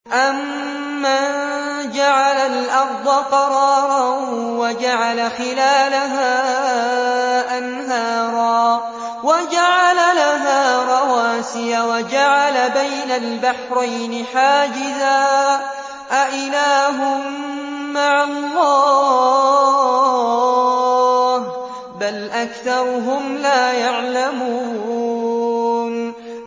أَمَّن جَعَلَ الْأَرْضَ قَرَارًا وَجَعَلَ خِلَالَهَا أَنْهَارًا وَجَعَلَ لَهَا رَوَاسِيَ وَجَعَلَ بَيْنَ الْبَحْرَيْنِ حَاجِزًا ۗ أَإِلَٰهٌ مَّعَ اللَّهِ ۚ بَلْ أَكْثَرُهُمْ لَا يَعْلَمُونَ